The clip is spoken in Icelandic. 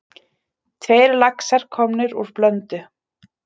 Tveir laxar komnir úr Blöndu